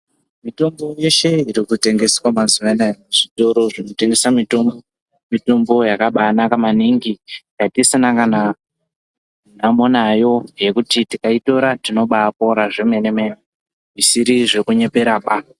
Mitombo yeshe iri kutengeswa mazuva ano aya muzvtoro zvinotengeswa mitombo yakabanaka maningi yatisina kana nhamo nayo yekuti tikayitora tinobayitora zvemene mene zvisiri zvekunyebera baa.